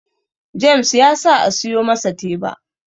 James ya sa a siyo masa teba